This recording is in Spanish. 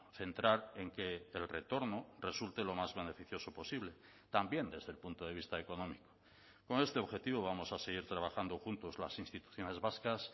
centrar en que el retorno resulte lo más beneficioso posible también desde el punto de vista económico con este objetivo vamos a seguir trabajando juntos las instituciones vascas